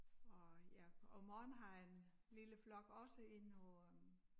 Og jeg om morgenen har jeg en lille flok også inde på øh